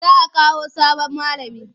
Za a Kawo sabon malami.